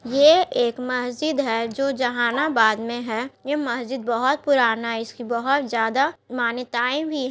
ये एक मस्जिद है जो जहानाबाद में हैं ये मस्जिद बहुत पुराना है इसकी बहुत ज़्यादा मान्यताये भी--